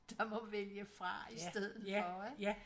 Der må vælge fra i stedet for ik